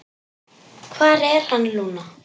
Hvar er hann, Lúna?